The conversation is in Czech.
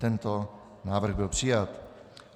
Tento návrh byl přijat.